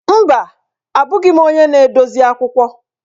Mba! Abụghị m onye na-edozi akwụkwọ.